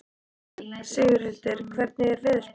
Sigurhildur, hvernig er veðurspáin?